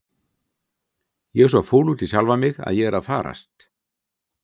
Ég er svo fúl út í sjálfa mig að ég er að farast!